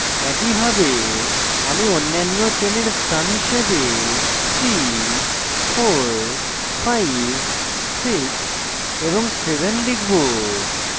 একইভাবে আমি অন্যান্য চেনের স্থান হিসাবে 3456 এবং 7 লিখব